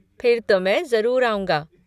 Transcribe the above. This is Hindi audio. फिर तो मैं ज़रूर आऊँगा।